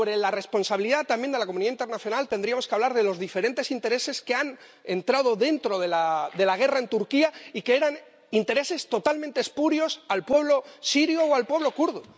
Sobre la responsabilidad, también, de la comunidad internacional, tendríamos que hablar de los diferentes intereses que han entrado dentro de la guerra en Turquía y que eran intereses totalmente espurios al pueblo sirio o al pueblo kurdo.